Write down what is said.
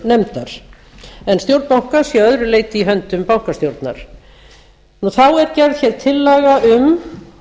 peningastefnunefndar en stjórn bankans að öðru leyti í höndum bankastjórnar þá er gerð tillaga um